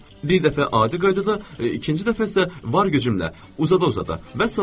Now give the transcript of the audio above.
Bir dəfə adi qaydada, ikinci dəfə isə var gücümlə, uzada-uzada.